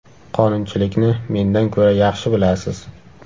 Qonunchilikni mendan ko‘ra yaxshi bilasiz!